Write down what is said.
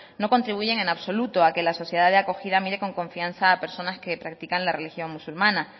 no contribuyen en absoluto a que la sociedad de acogida mire con confianza a personas que practican la religión musulmana